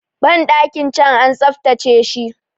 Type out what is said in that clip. bandakin can an tsaftace shi